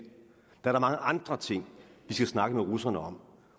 der er da mange andre ting vi skal snakke med russerne om